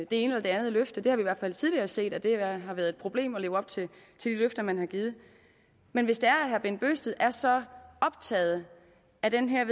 det ene eller andet løfte vi har i hvert fald tidligere set at det har været et problem at leve op til de løfter man har givet men hvis herre bent bøgsted er så optaget af det her